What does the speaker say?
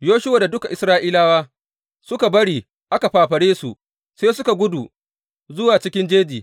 Yoshuwa da duk Isra’ilawa suka bari aka fafare su, sai suka gudu zuwa cikin jeji.